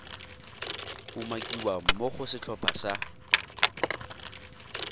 umakiwang mo go setlhopha sa